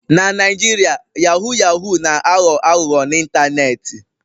Na Naijiria yahoo yahoo na-aghọ aghụghọ n'ịntanetị.